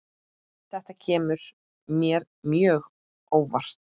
Þetta kemur mér mjög óvart.